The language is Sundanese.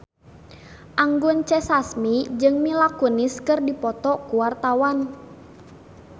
Anggun C. Sasmi jeung Mila Kunis keur dipoto ku wartawan